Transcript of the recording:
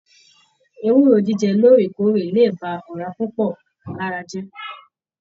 Ewúro jíjẹ lóòrèkóòrè lè ba ọra púpọ lára jẹ.